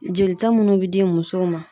Jolita munnu be di musow ma